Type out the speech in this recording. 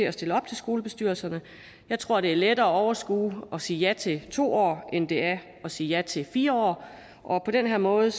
at stille op til skolebestyrelserne jeg tror det er lettere at overskue at sige ja til to år end det er at sige ja til fire år og på den her måde